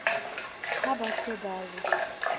ha ba se ba re